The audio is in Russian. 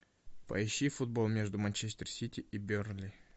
поищи футбол между манчестер сити и бернли